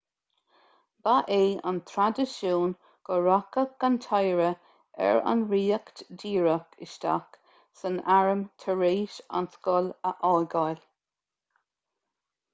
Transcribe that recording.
ba é an traidisiún go rachadh an t-oidhre ar an ríocht díreach isteach san arm tar éis an scoil a fhágáil